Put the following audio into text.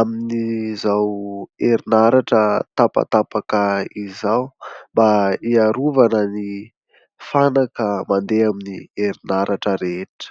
amin'izao herinaratra tapatapaka izao mba hiarovana ny fanaka mandeha amin'ny herinaratra rehetra.